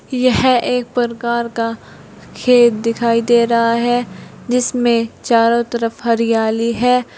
यह एक प्रकार का खेत दिखाई दे रहा है जिसमें चारों तरफ हरियाली है।